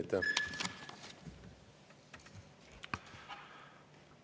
Aitäh!